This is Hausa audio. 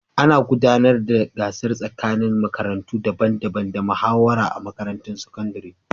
Ana gudanar da gasar tsakanin makarantu daban-daban da muhawara a makarantun sakandare.